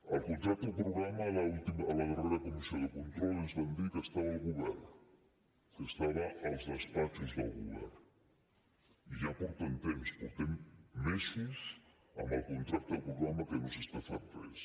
el contracte programa a la darrera comissió de control ens van dir que estava al govern que estava als despatxos del govern i ja porten temps portem mesos amb el contracte programa que no s’està fent res